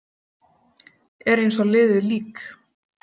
Er eins og liðið lík.